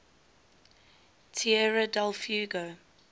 tierra del fuego